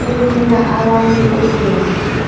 ukunika abantu ukudla.